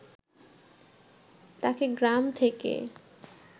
তাকে গ্রাম থেকে